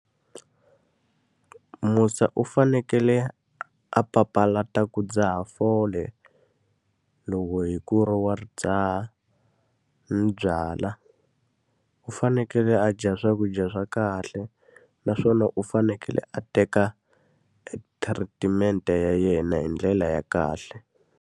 Musa u fanekele a papalata ku dzaha fole, loko hi ku ri wa dzaha ni byala. U fanekele a dya swakudya swa kahle naswona u fanekele a teka e treatment-e ya yena hi ndlela ya kahle.